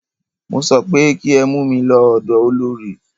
Mo sọ pé kí ẹ mú mí lọ ọ̀dọ olorì!